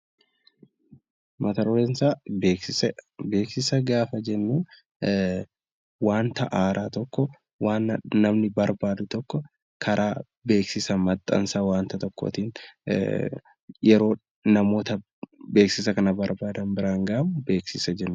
Beeksisa gaafa jennu wanta haaraa tokko wanta namni barbaadu tokko karaa beeksisa maxxansa wanta tokkootiin yeroo namoota beeksisa kana biraan gahamu beeksisa jedhama